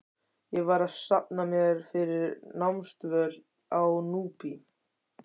Ég var að safna mér fyrir námsdvöl á Núpi.